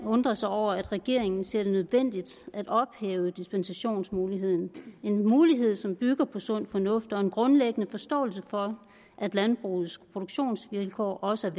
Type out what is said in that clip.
undre sig over at regeringen ser det nødvendigt at ophæve dispensationsmuligheden en mulighed som bygger på sund fornuft og en grundlæggende forståelse for at landbrugets produktionsvilkår også er